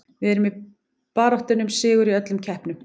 Við erum í baráttunni um sigur í öllum keppnum.